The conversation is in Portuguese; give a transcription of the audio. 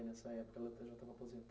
Nessa época